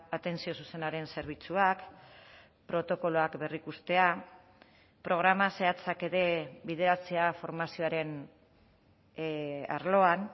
atentzio zuzenaren zerbitzuak protokoloak berrikustea programa zehatzak ere bideratzea formazioaren arloan